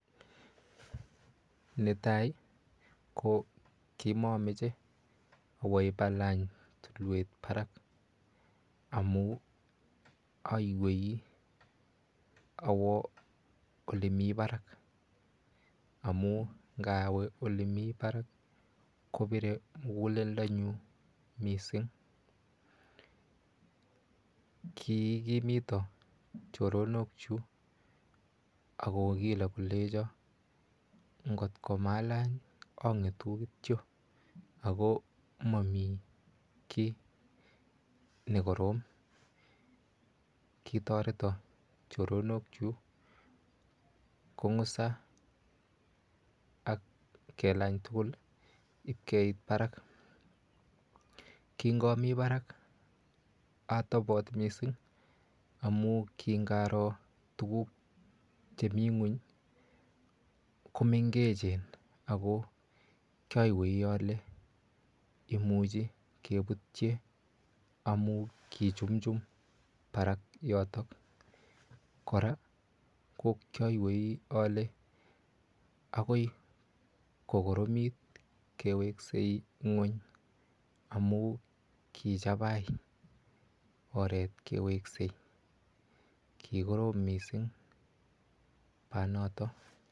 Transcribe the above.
Netai ko komomoche awe ibalany tulwet barak amun oiwei awo olemi barak, amun inowe olemi barak kobire muguleldonyun missing, kiikimiton choronokchuk ak kogilo kolenjo ng'ot komalany ii ong'etu kityo ako momikii nekorom, kitoreto choronokchu kong'usan iib kelany tugul iib keit barak, kingomi barak otobot missing amun king'aroo tuguk cheminyweny komeng'echen ako kioguye ole imuche kebutye amun kichumchum barak yotok, kora ko kioiwei ole agoi kokoromit keweksei nyweny amun kichabai oret keweksei, kikorom missing banoto.